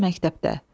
Əlbəttə, məktəbdə.